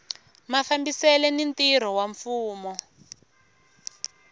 mafambisele ni ntirho wa mfumo